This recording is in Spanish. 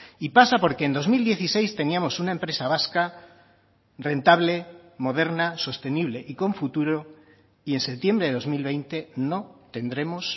y pasa porque en dos mil dieciséis teníamos una empresa vasca rentable moderna sostenible y con futuro y en septiembre de dos mil veinte no tendremos